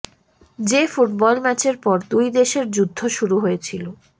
যে ফুটবল ম্যাচের পর দু্ই দেশের যুদ্ধ শুরু হয়েছিল